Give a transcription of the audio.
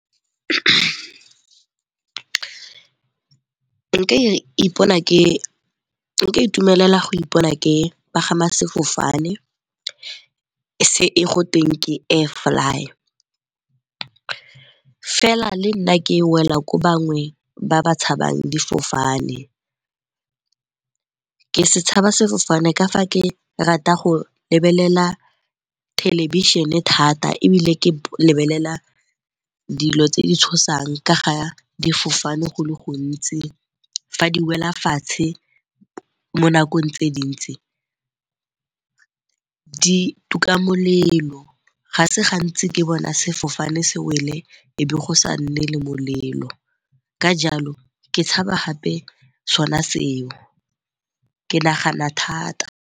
Nka itumelela go ipona ke pagama sefofane se e go tweng ke Air-fly. Fela le nna ke wela ko bangwe ba ba tshabang difofane, ke setshaba sefofane ka fa ke rata go lebelela thelebišhene thata ebile ke lebelela dilo tse di tshosang ka ga difofane go le gontsi. Fa di wela fatshe mo nakong tse dintsi, di tuka molelo ga se gantsi ke bona sefofane se wele e be go sa nne le molelo. Ka jalo ke tshaba gape sona seo, ke nagana thata.